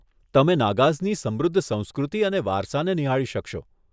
તમે નાગાઝની સમૃદ્ધ સંસ્કૃતિ અને વારસાને નિહાળી શકશો.